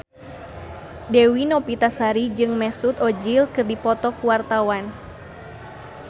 Dewi Novitasari jeung Mesut Ozil keur dipoto ku wartawan